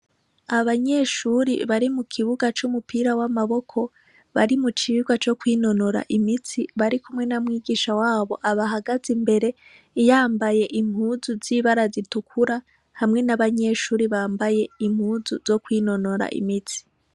Abanyeshure bari mukubiga cumupira wamaboko bari mucigwa co kwinonora imitsi barikumwe na mwigisha wabo abahagaze imbere yambaye impuzu zibara zitukura hamwe n'abanyeshure bambaye impuzu zo kwinonora imitsi.